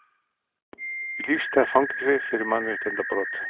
Í lífstíðarfangelsi fyrir mannréttindabrot